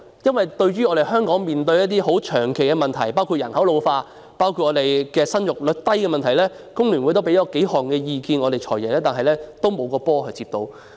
就香港長期面對的一些問題，包括人口老化、生育率低等，工聯會曾向"財爺"提出意見，但沒有一個"波"被他接到。